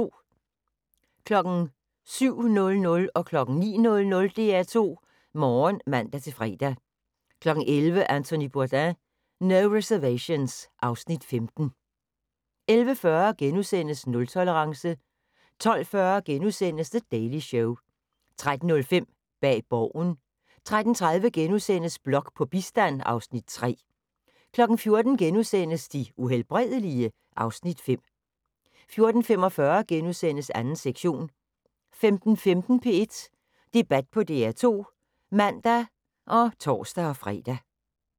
07:00: DR2 Morgen (man-fre) 09:00: DR2 Morgen (man-fre) 11:00: Anthony Bourdain: No Reservations (Afs. 15) 11:40: Nultolerance * 12:40: The Daily Show * 13:05: Bag Borgen 13:30: Blok på bistand (Afs. 3)* 14:00: De Uhelbredelige? (Afs. 5)* 14:45: 2. sektion * 15:15: P1 Debat på DR2 (man og tor-fre)